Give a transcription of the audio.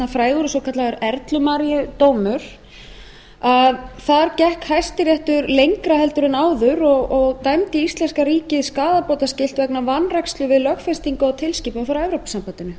frægur eða svokallaður erlumaríudómur þar gekk hæstiréttur lengra heldur en áður og dæmdi íslenska ríkið skaðabótaskylt vegna vanrækslu við lögfestingu á tilskipun frá evrópusambandinu